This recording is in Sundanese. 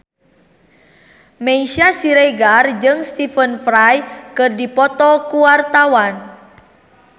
Meisya Siregar jeung Stephen Fry keur dipoto ku wartawan